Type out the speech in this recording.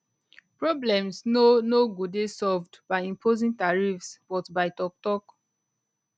problems no no go dey solved by imposing tariffs but by toktok